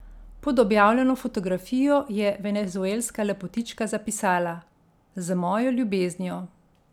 Pod objavljeno fotografijo je venezuelska lepotička zapisala: ''Z mojo ljubeznijo.